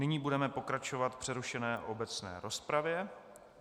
Nyní budeme pokračovat v přerušené obecné rozpravě.